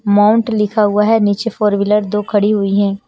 Mount लिखा हुआ है नीचे फोर व्हीलर दो खड़ी हुई हैं।